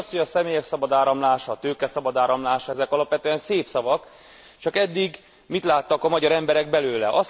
Ugyanis az, hogy a személyek szabad áramlása, a tőke szabad áramlása, ezek alapvetően szép szavak, csak eddig mit láttak a magyar emberek belőle?